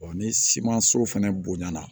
ni simanso fɛnɛ bonɲala